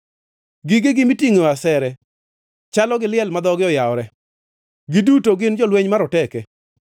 Gigegi mitingʼoe asere chalo gi liel ma dhoge oyawore; giduto gin jolweny maroteke.